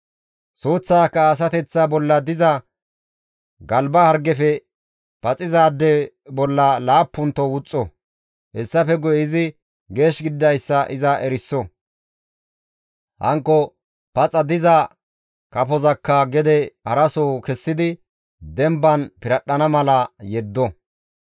Suuththaaka asateththa bolla diza galba hargefe paxizaade bolla laappunto wuxxo; hessafe guye izi geesh gididayssa iza eriso; hankko paxa diza kafozakka gede haraso kessidi demban piradhdhana mala yeddo.